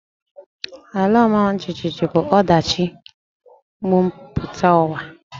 Ala ọma jijiji bụ ọdachi mbumputauwa